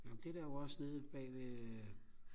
jo men det er der jo også nede bagved øh